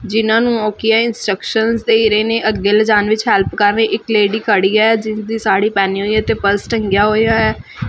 ਜਿੰਨਾਂ ਨੂੰ ਉਹ ਕੀ ਆ ਇੰਸਟਰਕਸ਼ਨਸ ਦੇ ਰਹੇ ਨੇ ਅੱਗੇ ਲਿਜਾਣ ਵਿੱਚ ਹੈਲਪ ਕਰ ਰਹੇ ਇੱਕ ਲੇਡੀ ਖੜੀ ਐ ਜਿਸਦੀ ਸਾੜੀ ਪੈਣੀ ਹੋਈ ਏ ਤੇ ਪਰਸ ਟੰਗਿਆ ਹੋਇਆ ਐ।